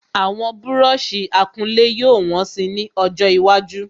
Àwọn búrọ̀sì akulé yóò wọ́n si ni ọjọ iwájú